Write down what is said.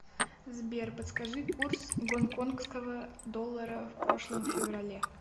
сбер подскажи курс гонконгского доллара в прошлом феврале